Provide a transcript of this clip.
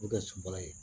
O kɛ sunbala ye